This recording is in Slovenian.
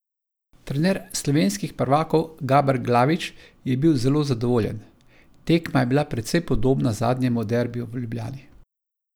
Trener slovenskih prvakov Gaber Glavič je bil zelo zadovoljen: "Tekma je bila precej podobna zadnjemu derbiju v Ljubljani.